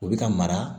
U bɛ ka mara